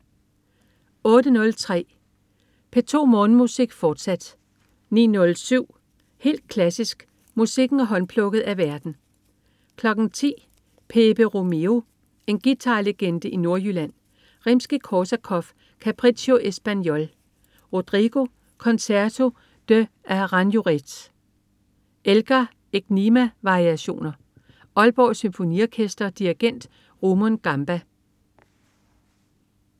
08.03 P2 Morgenmusik, fortsat 09.07 Helt klassisk. Musikken er håndplukket af værten 10.00 Pèpe Romero. En guitarlegende i Nordjylland. Rimskij-Korsakov: Capriccio Espagnol. Rodrigo: Concerto de Aranjuez. Elgar: Enigma-variationer. Aalborg Symfoniorkester. Dirigent: Rumon Gamba